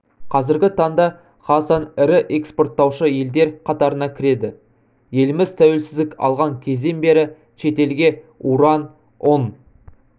қазіргі таңда қазақстан ірі экспорттаушы елдер қатарына кіреді еліміз тәуелсіздік алған кезден бері шетелге уран ұн